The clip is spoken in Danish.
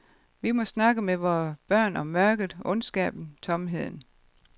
Vi må snakke med vores børn om mørket, ondskaben, tomheden.